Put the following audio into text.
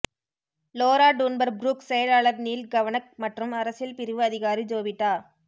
Lola Dunbar Brooks செயலாளர் Neil Kavanagh மற்றும் அரசியல் பிரிவு அதிகாரி ஜொவிட்டா